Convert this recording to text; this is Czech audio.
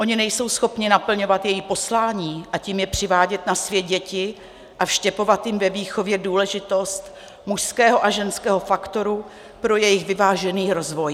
Oni nejsou schopni naplňovat její poslání, a tím je přivádět na svět děti a vštěpovat jim ve výchově důležitost mužského a ženského faktoru pro jejich vyvážený rozvoj.